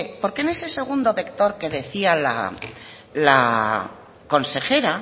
porque en ese segundo vector que decía la consejera